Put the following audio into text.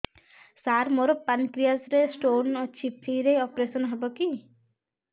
ସାର ମୋର ପାନକ୍ରିଆସ ରେ ସ୍ଟୋନ ଅଛି ଫ୍ରି ରେ ଅପେରସନ ହେବ କି